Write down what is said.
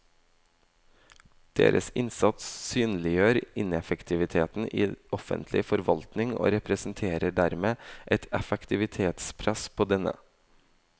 Deres innsats synliggjør ineffektiviteten i offentlig forvaltning og representerer dermed et effektivitetspress på denne.